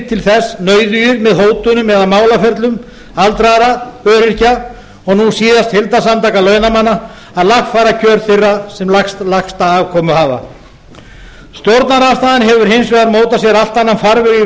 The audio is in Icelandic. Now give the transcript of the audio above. til þess nauðugir með hótunum eða málaferlum aldraðra öryrkja og nú síðast heildarsamtaka launamanna að lagfæra kjör þeirra sem lægsta afkomu hafa stjórnarandstaðan hefur hins vegar mótað sér allt annan farveg í